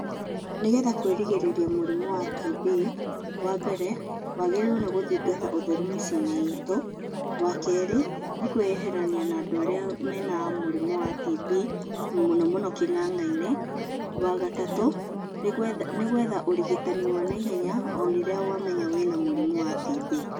Nĩgetha kwĩrigĩrĩria mũrimũ wa TB wambere, wagĩrĩirwo nĩ gũthingata ũtheru mĩciĩ-inĩ itũ. Wakerĩ nĩ kwĩyeherania na andũ arĩa marĩ na murimũ wa TB mũno mũno kĩng'ang'a-inĩ. Wagatatũ nĩ gwetha ũrigitani wa naihenya o rĩrĩa wamenya wĩna mũrimũ wa TB.